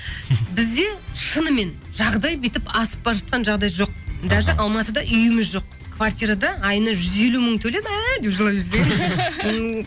бізде шынымен жағдай бүйтіп асып бара жатқан жағдай жоқ даже алматыда үйіміз жоқ квартирада айына жүз елу мың төлеп деп жылап жіберсең